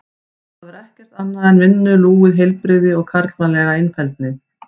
Þar var ekkert að sjá annað en vinnulúið heilbrigði og karlmannlega einfeldni.